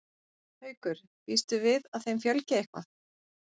Haukur: Býstu við að þeim fjölgi eitthvað?